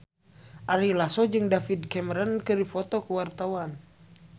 Ari Lasso jeung David Cameron keur dipoto ku wartawan